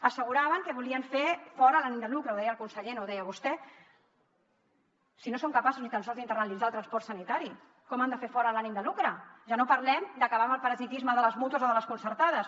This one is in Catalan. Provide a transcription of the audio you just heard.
asseguraven que volien fer fora l’ànim de lucre ho deia el conseller no ho deia vostè si no són capaços ni tan sols d’internalitzar el transport sanitari com han de fer fora l’ànim de lucre ja no parlem d’acabar amb el parasitisme de les mútues o de les concertades